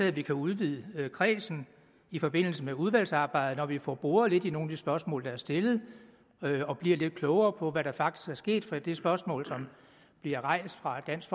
at vi kan udvide kredsen i forbindelse med udvalgsarbejdet når vi får boret lidt i nogle af de spørgsmål der er stillet og bliver lidt klogere på hvad der faktisk er sket for det spørgsmål som blev rejst fra dansk